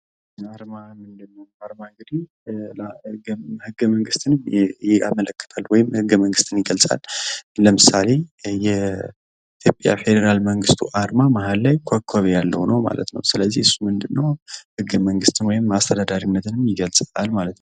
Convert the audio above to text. አርማ እንግዲህ ህገ መንግስትን ይገልጻል ለምሳሌ የኢትዮጵያ ፌዴራላዊ መንግስት አርማ መሃል ላይ ኮኮብ ያለው ነው ማለት ነው እሱ ምንድነው ህገ መንግስትን ወይም አስተዳደርን ይገልፃል ማለት ነው።